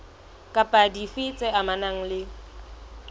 kapa dife tse amanang le